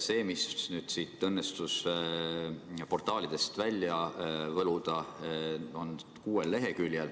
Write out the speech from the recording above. See, mis mul õnnestus nüüd portaalidest välja võluda, on kuuel leheküljel.